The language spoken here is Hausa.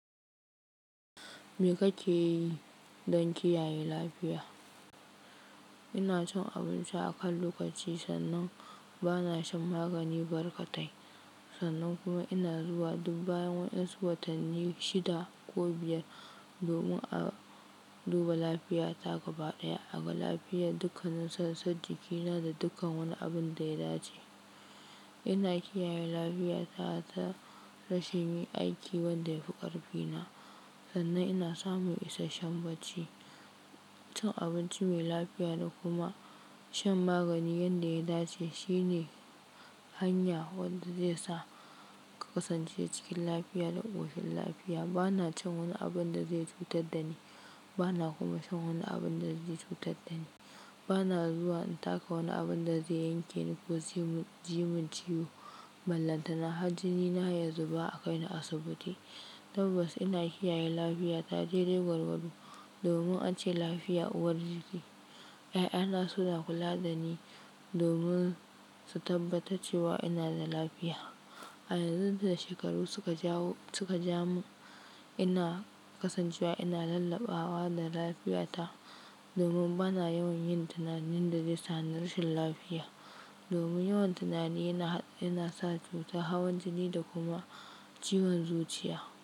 Me kake yi don kiyaye lafiya? Ina cin abinci a kan lokaci, sannan ba na shan magani barkatai. Sannan kuma ina zuwa dub bayan wasu watanni shida ko biyar domin a duba lafiyata gaba ɗaya. Aga lafiyar dukkanin sassan jikina da dukkan wani abin da ya dace. Ina kiyaye lafiya ta rashin yin aiki wanda yafi ƙarfi na. Sannan ina samun isasshen bacci. Cin abinci mai lafiya da kuma shan magani yanda ya dace shine hanya wadda zai sa ka kasance cikin lafiya da ƙoshin lafiya. Ba na cin wani abun da zai cutar da ni. Ba na kuma shan wani abun da zai cutar da ni. Ba na zuwa in taka wani abun da zai yanke ni ko zai ji mun ciwo. Ballantana har jinina ya zuba a kai ni asibiti. Tabbas ina kiyaye lafiya ta dai dai gwargwado domin ance lafiya uwar jiki. Ƴaƴana suna kula da ni domin su tabbatar cewa ina da lafiya. A yanzu da shekaru suka jawo-- suka ja mun ina kasancewa ina lalabawa da lafiyata domin ba na yawan yin tunanin da zai sa na rashin lafiya. Domin yawan tunani yana, yana sa cuta hawan jii kuma ciwon zuciya.